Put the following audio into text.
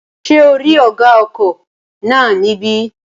Ṣé ò rí ọ̀gá ọkọ̀ náà ní bẹ̀?